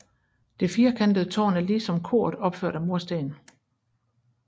Det firekantede tårn er lige som koret opført af mursten